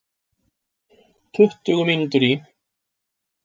Tuttugu mínútur í